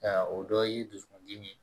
Nka o dɔ ye dusukun dimi ye